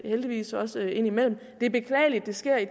heldigvis også indimellem det er beklageligt at det sker i